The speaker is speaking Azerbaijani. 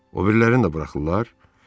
O birilərini də buraxırlar?